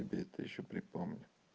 тебе это ещё припомню